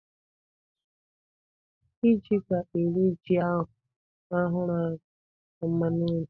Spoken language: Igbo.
Diji ga-eri ji a hụrụ ahụ na mmanụ nri.